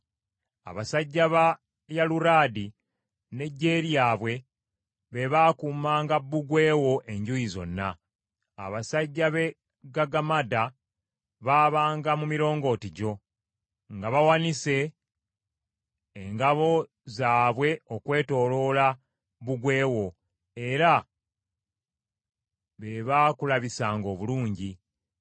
Abasajja ba Aluwadi n’eggye lyabwe be baakuumanga bbugwe wo enjuuyi zonna; abasajja b’e Gagammada baabanga mu mirongooti gyo nga bawanise engabo zaabwe okwetooloola bbugwe wo, era be baakulabisanga obulungi.